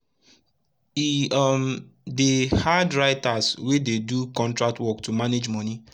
plenti pipu don dey use online wallet manage dia manage dia moni wel wel